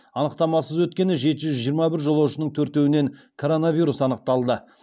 анықтамасыз өткен жеті жүз жиырма бір жолаушының төртеуінен коронавирус анықталды